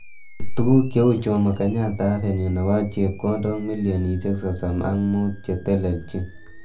Tukuk cheu Jommo kenyatta avenue nebo chepkondok milionishek sosom.ak mut che teleljin.